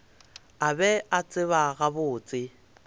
a be a tseba gabotse